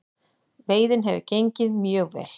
Veiðin hefur gengið mjög vel